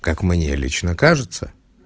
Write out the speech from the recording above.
как мне лично кажется